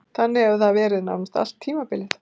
Þannig hefur það verið nánast allt tímabilið.